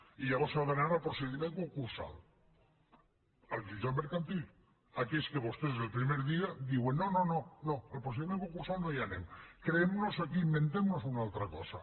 i llavors s’ha d’anar al procediment concursal al jutjat mercantil a aquells que vostès des del primer dia diuen no no al procediment concursal no hi anem inventem nos una altra cosa